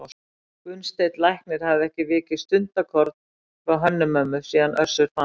Gunnsteinn læknir hafði ekki vikið stundarkorn frá Hönnu-Mömmu síðan Össur fannst.